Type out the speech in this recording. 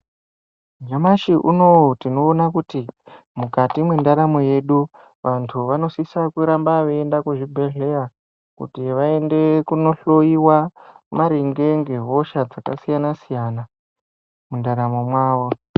Nyamshi unou tinoona kuti mukati mwendaramo yedu vanthu vanosisa kuramba veienda kuzvibhedhleya kuti vaende kunohloyiwa maringe ngehosha dzakasiyana siyana mundaramo mwavo.